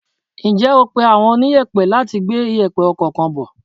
Ǹjẹ́ o pé àwọn oniyepe láti gbé iyepe ọkọ̀ kan bò?